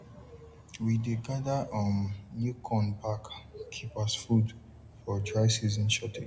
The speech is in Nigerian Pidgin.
we dey gather um new corn back keep as food for dry season shortage